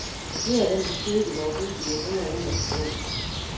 Flere af dem har siddet i vore huse i århundreder uden at forgå.